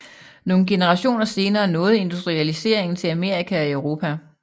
Nogle generationer senere nåede industrialiseringen til Amerika og Europa